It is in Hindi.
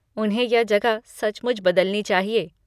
उन्हें यह जगह सचमुच बदलनी चाहिए।